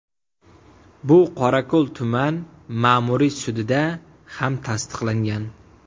Bu Qorako‘l tuman Ma’muriy sudida ham tasdiqlangan.